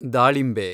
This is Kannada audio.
ದಾಳಿಂಬೆ